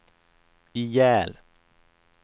ihjäl